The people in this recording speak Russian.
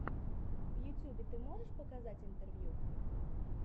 в ютюбе ты можешь показать интервью